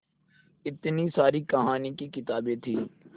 इतनी सारी कहानी की किताबें थीं